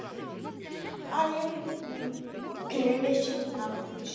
Ayın 25-i imtahan vermişdim.